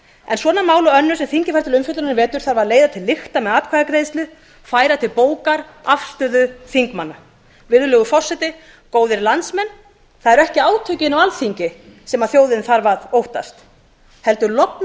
en svona mál og önnur sem þingið fær til umfjöllunar í vetur þarf að leiða til lykta með atkvæðagreiðslu færa til bókar afstöðu manna virðulegur forseti góðir landsmenn það eru ekki átökin á alþingi sem þjóðin þarf að óttast heldur